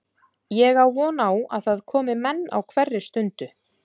Ég á von á að það komi menn á hverri stundu.